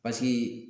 Paseke